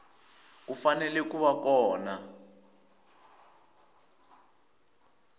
u fanele ku va kona